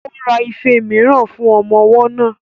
Ó ra ife mìíràn fún ọmọ ọwọ́ náà